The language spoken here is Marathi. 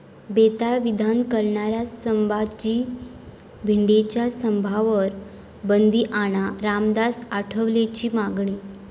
बेताल विधान करणाऱ्या संभाजी भिडेंच्या सभांवर बंदी आणा, रामदास आठवलेंची मागणी